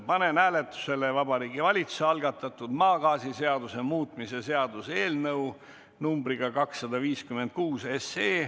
Panen hääletusele Vabariigi Valitsuse algatatud maagaasiseaduse muutmise seaduse eelnõu numbriga 256.